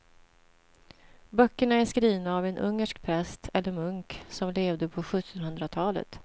Böckerna är skrivna av en ungersk präst eller munk som levde på sjuttonhundratalet.